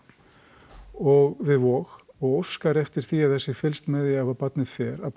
og við Vog og óskar eftir því að það sé fylgst með því ef barnið fer að